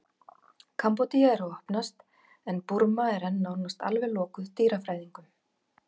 kambódía er að opnast en burma er enn nánast alveg lokuð dýrafræðingum